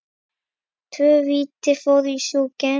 Tvö víti fóru í súginn.